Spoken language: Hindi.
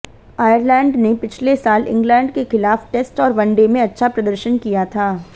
आयरलैंड ने पिछले साल इंग्लैंड के खिलाफ टेस्ट और वनडे में अच्छा प्रदर्शन किया था